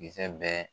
Kisɛ bɛɛ